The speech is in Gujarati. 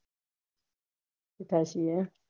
બેઠા છીએ